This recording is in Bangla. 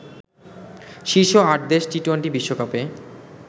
শীর্ষ ৮ দেশ টি-টোয়েন্টি বিশ্বকাপে